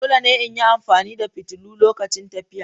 Dole ne in yi amfani da fitilu lokacin tafiya.